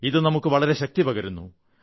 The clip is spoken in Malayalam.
ഇത് നമുക്ക് വളരെ ശക്തി പകരുന്നു